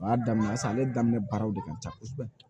O y'a daminɛ sisan ale daminɛ baaraw de ka ca kosɛbɛ